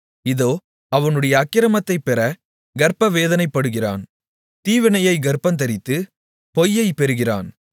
இதோ அவனுடைய அக்கிரமத்தைப் பெறக் கர்ப்பவேதனைப்படுகிறான் தீவினையைக் கர்ப்பந்தரித்து பொய்யைப் பெறுகிறான்